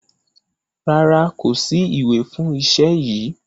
Rárá, kò sí ìwé fún iṣẹ́ yìí.